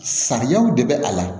Sariyaw de bɛ a la